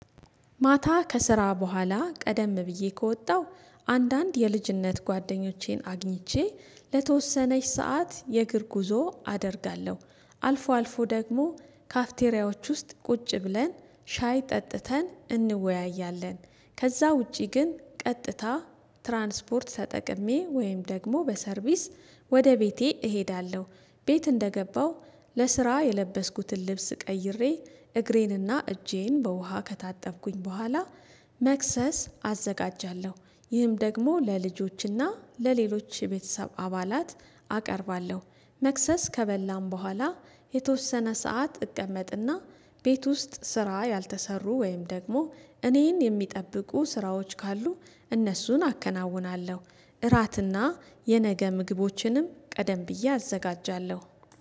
ማታ ከስራ በኋላ ቀደም ብዬ ከወጣሁ አንዳንድ የልጅነት ጓደኞቼን አግኝቼ ለተወሰነች ሰዓት የእግር ጉዞ አደርጋለሁ አልፎ አልፎ ደግሞ ካፍቴሪያዎች ውስጥ ቁጭ ብለን ሻይ ጠጥተን እንወያያለን። ከዛ ውጪ ግን ቀጥታ ትራንስፖርት ተጠቅሜ ወይም ደግሞ በሰርቪስ ወደ ቤቴ እሄዳለሁ። ቤት እንደገባው ለስራ የለበስኩትን ልብስ ቀይሬ እግሬንና እጄን በውሃ ከታጠብኩኝ በኋላ መክሰስ አዘጋጃለሁ ይህም ደግሞ ለልጆችና ለሌሎች የቤተሰብ አባላት አቀርባለሁ። መክሰስ ከበላን በኋላ የተወሰነ ሰዓት እቀመጥና ቤት ውስጥ ስራ ያልተሰሩ ወይም ደግሞ እኔን የሚጠብቁ ስራዎች ካሉ እነሱን አከናውናለሁ። እራትና የነገ ምግቦችንም ቀደም ብዬ አዘጋጃለሁ